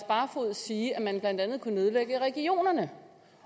barfoed sige at man blandt andet kunne nedlægge regionerne